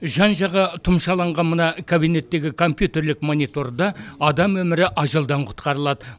жан жағы тұмшаланған мына кабинеттегі компьютерлік мониторда адам өмірі ажалдан құтқарылады